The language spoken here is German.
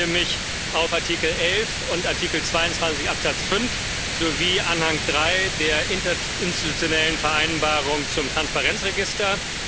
Ich beziehe mich auf Artikel 11 und Artikel 22 Absatz 5 sowie Anhang III der Interinstitutionellen Vereinbarung zum Transparenzregister.